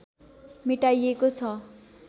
मेटाइएको छ